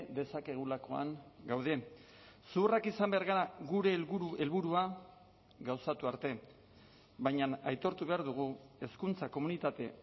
dezakegulakoan gaude zuhurrak izan behar gara gure helburu helburua gauzatu arte baina aitortu behar dugu hezkuntza komunitate